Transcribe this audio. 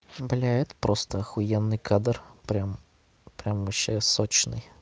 бля это просто ахуенный кадр прямо прямо вообще сочный